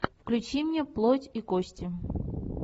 включи мне плоть и кости